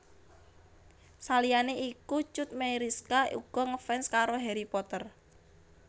Saliyané iku Cut Meyriska uga ngefans karo Harry Potter